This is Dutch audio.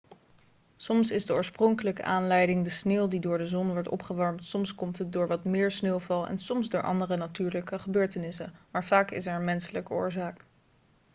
soms is de oorspronkelijke aanleiding de sneeuw die door de zon wordt opgewarmd soms komt het door wat meer sneeuwval en soms door andere natuurlijke gebeurtenissen maar vaak is er een menselijke oorzaak